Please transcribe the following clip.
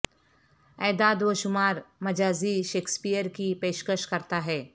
اعداد و شمار مجازی شیکسپیئر کی پیشکش کرتا ہے